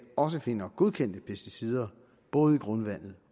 også finder godkendte pesticider både i grundvandet